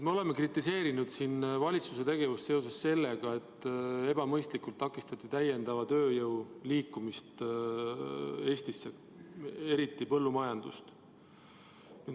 " Me oleme kritiseerinud siin valitsuse tegevust seoses sellega, et ebamõistlikult takistati täiendava tööjõu liikumist Eestisse, eriti põllumajandusse.